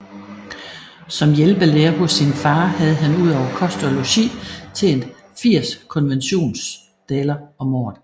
Som hjælpelærer hos sin far havde han ud over kost og logi tjent 80 konventionsdaler om året